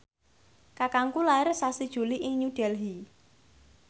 kakangku lair sasi Juli ing New Delhi